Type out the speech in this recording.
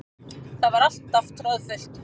Það var alltaf troðfullt.